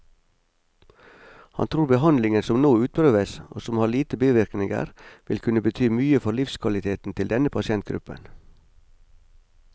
Han tror behandlingen som nå utprøves, og som har lite bivirkninger, vil kunne bety mye for livskvaliteten til denne pasientgruppen.